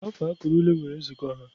Afọ akara ule nwere nzukọ ha